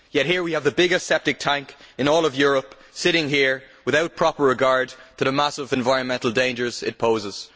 Yet we have the biggest septic tank in all of Europe sitting there, without proper regard to the massive environmental dangers it poses.